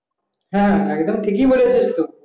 হ্যাঁ একদম ঠিকই বলেছিস তুই